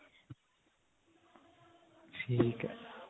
ਠੀਕ ਹੈ